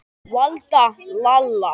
Valda, Lalla.